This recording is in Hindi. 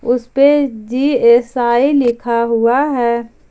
उसे पे जी_एस_आई लिखा हुआ है।